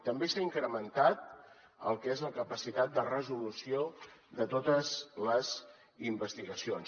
també s’ha incrementat el que és la capacitat de resolució de totes les investigacions